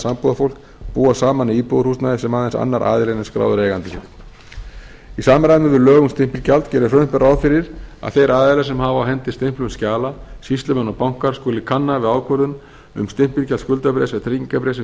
sambúðarfólk búa saman í íbúðarhúsnæði sem aðeins annar aðilinn er skráður eigandi fyrir í samræmi við lög um stimpilgjald gerir frumvarpið ráð fyrir að þeir aðilar sem hafa á hendi stimplun skjala skuli kanna við ákvörðun um stimpilgjald skuldabréfs eða tryggingarbréfs sem